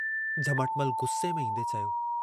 तेजीअ अचरज विचां पुछियो।